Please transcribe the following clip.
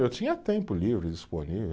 Eu tinha tempo livre, disponível.